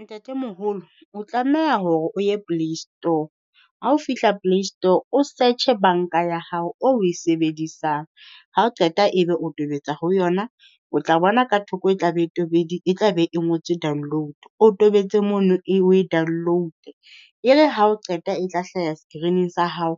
Ntatemoholo o tlameha hore o ye PlayStore, ha o fihla PlayStore o search-e banka ya hao o oe sebedisang. Ha o qeta e be o tobetsa ho yona, o tla bona ka thoko e tla be e e tla be e ngotswe download. O tobetse mono e oe download-e e re ha o qeta e tla hlaha screen-ing sa hao